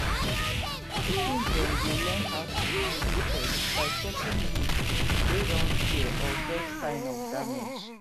pikin dem dey learn how to handle pests by checking leaf wey don tear or get sign of damage